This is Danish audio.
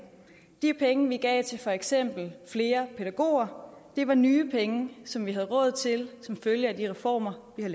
de penge vi gav til for eksempel flere pædagoger var nye penge som vi havde råd til som følge af de reformer vi